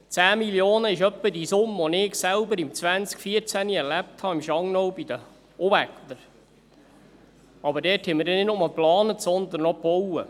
10 Mio. Franken sind etwa die Summe, die ich selbst im Jahr 2014 bei den Unwettern im Schangnau erlebt habe, aber dort haben wir nicht nur geplant, sondern auch gebaut.